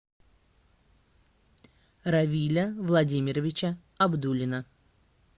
равиля владимировича абдуллина